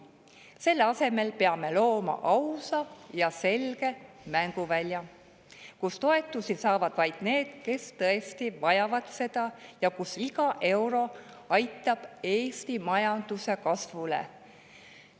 Selle asemel peame looma ausa ja selge mänguvälja, kus toetusi saavad vaid need, kes neid tõesti vajavad, ja kus iga euro aitab kaasa Eesti majanduse kasvule.